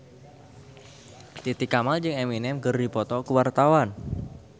Titi Kamal jeung Eminem keur dipoto ku wartawan